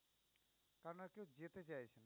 যেতে চাইছে